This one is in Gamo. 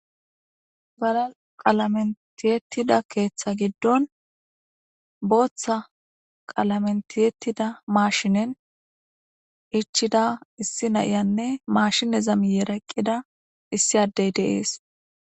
Gala qalamentiyettida keeththa giddon booththa qalamen tiyetida maashinen ichida issi na7iyanne maashineza mi yeraqqida issi addey deees.